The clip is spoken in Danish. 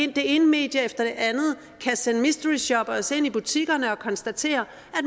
det ene medie efter det andet kan sende mystery shoppers ind i butikkerne og konstatere